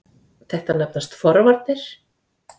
Þetta nefnast forvarnir.